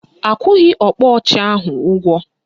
Akwụghị ọkpa ọchị ahụ ụgwọ